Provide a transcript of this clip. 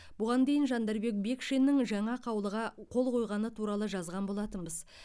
бұған дейін жандарбек бекшиннің жаңа қаулыға қол қойғаны туралы жазған болатынбыз